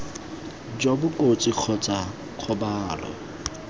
jo bo kotsi kgotsa kgobalo